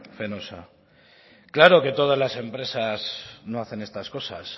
fenosa claro que todas las empresas no hacen estas cosas